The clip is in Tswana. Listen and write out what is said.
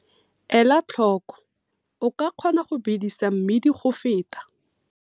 Ela tlhoko - O ka kgona go bedisa mmidi go feta.